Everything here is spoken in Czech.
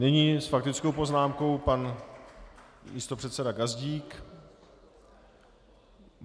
Nyní s faktickou poznámkou pan místopředseda Gazdík.